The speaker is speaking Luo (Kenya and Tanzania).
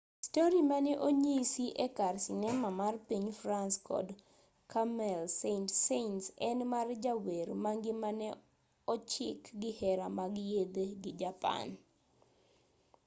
stori mane onyisi e kar sinema mar piny france kod camille saint-saens en mar jawer ma ngimane ochik gi hera mag yedhe gi japan